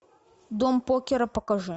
дом покера покажи